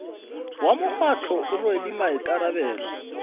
wa mokgatlo o rwele maikarabelo